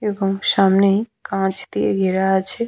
এবং সামনেই কাঁচ দিয়ে ঘেরা আছে।